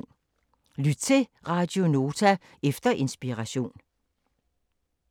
Lyt til Radio Nota efter Inspiration